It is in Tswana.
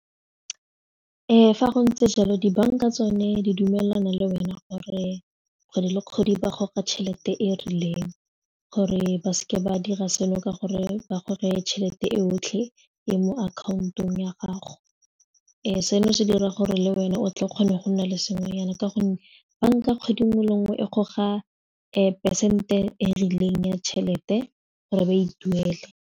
Fa go ntse jalo dibanka tsone di dumelana le wena gore kgwedi le kgwedi ba goka tšhelete e rileng gore ba seke ba dira seno ka gore ba gore tšhelete e otlhe e mo account-ong ya gago seno se dira gore le wena o tle o kgone go nna le sengwenyana ka gonne banka kgwedi nngwe le nngwe e goga peresente e e rileng ya tšhelete gore ba e tuele.